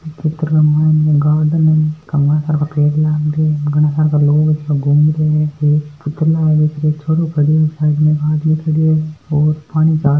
इक चित्र के मायने गार्डन आदमी खड़यो है पानी चाल --